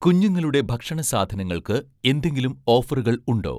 കുഞ്ഞുങ്ങളുടെ ഭക്ഷണ സാധനങ്ങൾക്ക് എന്തെങ്കിലും ഓഫറുകൾ ഉണ്ടോ?